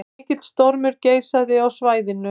Mikill stormur geisaði á svæðinu